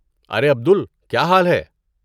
ارے عبدل، کیا حال ہے؟